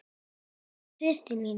Ert þú systir mín?